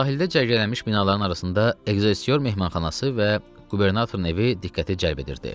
Sahildə cərgələnmiş binaların arasında Ekzessior mehmanxanası və qubernatorun evi diqqəti cəlb edirdi.